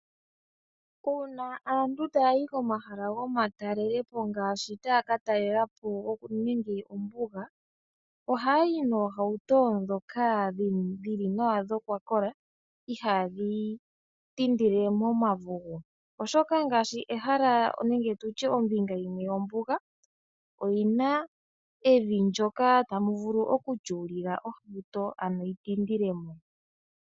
Uuna aantu taayi komahala taakatalelapo omahala gomatalelopo ngaashi ombunga oha yayi noohauto dhili nawa dhokwakola ndhoka ihaadhi tindile momavugu. Ombinga yimwe yombunga oyina evi ndyoka tamu vulu oku tyuulila ohauto ano tayi vulu okutindilamo.